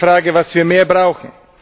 Es ist die Frage, was wir mehr brauchen.